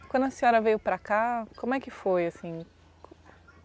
E quando a senhora veio para cá, como é que foi assim?